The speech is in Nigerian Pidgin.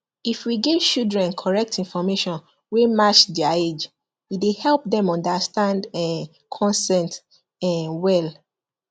if we give children correct information wey match their age e dey help them understand um consent um well